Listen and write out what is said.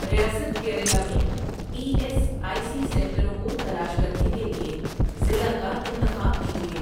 ریاست کیرلا میں E S I C سنٹروں کو تلاش کرنے کے لیے ضلع کا انتخاب کیجیے